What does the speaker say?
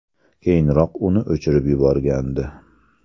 Keyinroq uni o‘chirib yuborgandi.